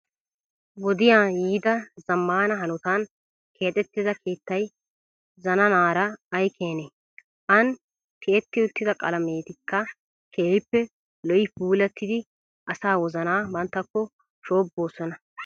Wodiya yiida zammaana hanotan keexettida keettayi zananaara ayi keenee. An ti"etti uttida qalametikka keehippe lo"ii puulattidi asaa wozanaa banttakko shoobbosona.